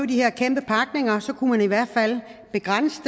de her kæmpe pakninger kunne man i hvert fald begrænse